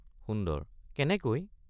সুন্দৰ—কেনেকৈ?